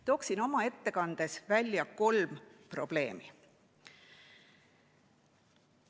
Toon oma ettekandes välja kolm probleemi.